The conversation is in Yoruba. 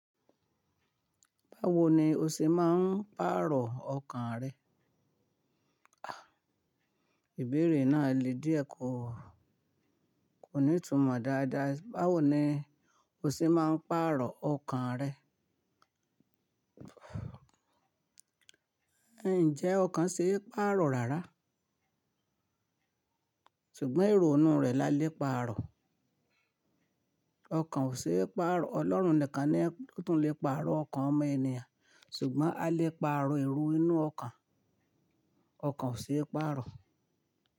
Báwo ni o ṣe máa ń pàrọ̀ ọkàn rẹ? Àì, ìbéèrè náà le díẹ̀ kò, kò ní ìtumọ̀ dáadáa. Báwo ni o ṣe máa ń pàrọ̀ ọkàn rẹ? Ǹjẹ́ ọkàn ṣe é pàrọ̀ rárá, ṣùgbọ́n èrò inú rẹ̀ la le pàrọ̀. Ọkàn ò ṣe é pàrọ̀. Ọlọ́run nìkan ni Ó tún le pàrọ̀ ọkàn ọmọ ènìyàn, ṣùgbọ́n a lè pàrọ̀ èrò inú ọkàn. Ọkàn ò ṣe é pàrọ̀